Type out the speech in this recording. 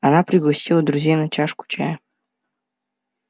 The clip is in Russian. она пригласила друзей на чашку чая